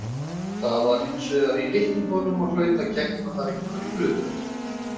Það var hins vegar í litningum og hlaut að gegna þar einhverju hlutverki.